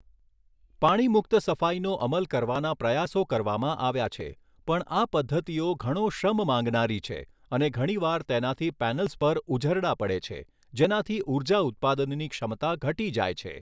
પાણીમુક્ત સફાઈનો અમલ કરવાના પ્રયાસો કરવામાં આવ્યા છે પણ આ પદ્ધતિઓ ઘણો શ્રમ માંગનારી છે અને ઘણીવાર તેનાથી પૅનલ્સ પર ઉઝરડા પડે છે, જેનાથી ઉર્જા ઉત્પાદનની ક્ષમતા ઘટી જાય છે.